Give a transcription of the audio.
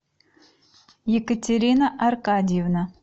екатерина аркадьевна